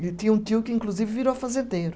E eu tinha um tio que, inclusive, virou fazendeiro.